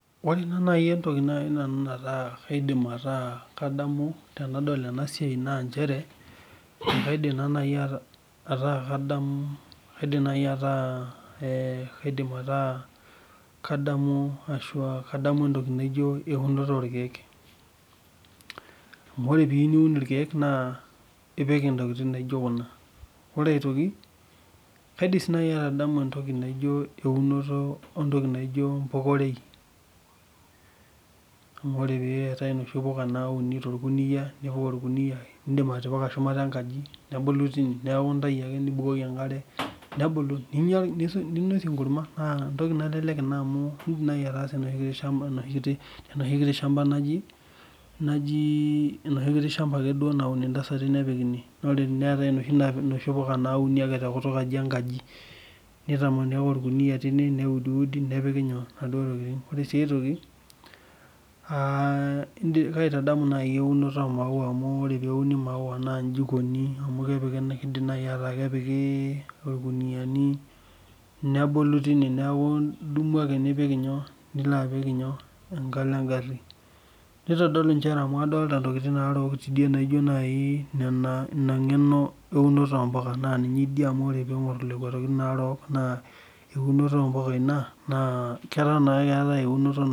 Ore naaji nanu entoki naidim ataa kadamu tenadol ena siai naa nchere, kaidim ataa kadamu eunore orkeek .Amu ore pee iyieu niun irkeek na ipik ntokiting naijo kuna Ore aitoki ,kaidim sii atadamu entoki naijo eunore oompuka ore .Amu ore paa noshi puka nauni torkuniyia ,nipik orkuniyia ,nindim atipika shumata orkuniyia nebulu tine neeku intayu ake ,nibukoki enkare nebulu ninosie enkurma. Naa kelelek amu indim ake etuuno tenoshi kiti shampa naun ntasati nepik ine ,neetae noshi kuti puka ake nauni tekutukaji enkaji. nitamani ake orkuniyia tineweji ,neudiudi nepiki enkare ,ore sii enkae toki kaitadamu naaji eunore imaua amu ore pee uni mauwa naaji eikoni ami keidim naaji nepiki orkuniyani neeku idumu ake tine nilo apik enkalo engari. Nitodolu amu adolita ntokiting tidie naarok naijo naaji ina ngeno eunoto ompuka .Naa ninye idia amu ore pee ingor lekwa tokiting orook naa eunoto impuka ina .